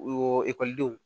O ekɔlidenw